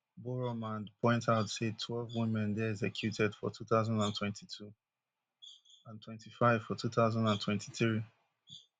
boroumand point out say twelve women dey executed for two thousand and twenty-two and twenty-five for two thousand and twenty-three